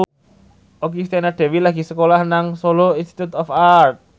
Okky Setiana Dewi lagi sekolah nang Solo Institute of Art